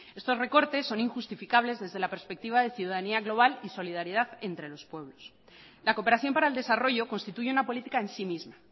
estos recortes son injustificables desde la perspectiva de ciudadanía global y solidaridad entre los pueblos la cooperación para el desarrollo constituye una política en sí misma